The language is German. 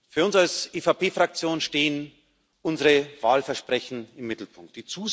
Für uns als EVP Fraktion stehen unsere Wahlversprechen im Mittelpunkt.